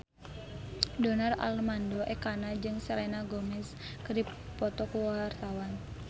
Donar Armando Ekana jeung Selena Gomez keur dipoto ku wartawan